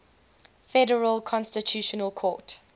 federal constitutional court